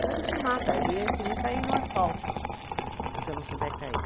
Senão ele se mata, ele é que nem cair no asfalto, se você não souber cair.